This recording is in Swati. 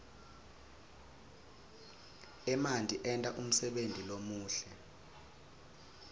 emanti enta umsebenti lomuhle